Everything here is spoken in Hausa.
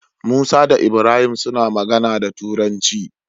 Musa da ibrahim suna magana da turanci